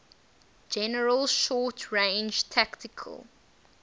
general short range tactical